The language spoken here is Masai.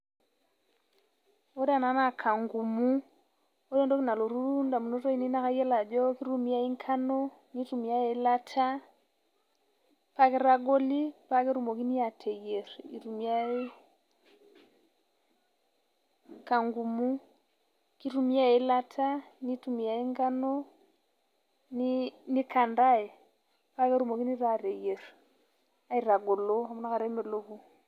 Ore ena naa kangumu ore entoki nalotu indamunot aainei naakayiolo ajo kitumiai enkano nitumiyai eeilata paakeitagoli paa ketumokini aateyier kangumu kitumiyai eeilata nitumiyai enkano nikantai paa ketumokini taaa aateyier.